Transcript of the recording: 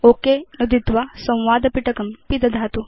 okay नुदित्वा संवाद पिटकं पिदधातु